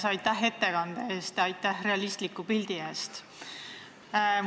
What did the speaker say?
Aitäh ettekande eest, aitäh realistliku pildi eest!